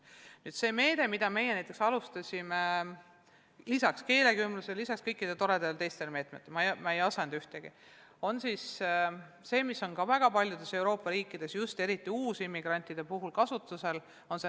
Üks meede, mida me alustasime lisaks keelekümblusele ja lisaks kõikidele teistele toredatele meetmetele, on nn kahe õpetaja programm, mis on väga paljudes Euroopa riikides just eriti uusimmigrantide puhul kasutusel.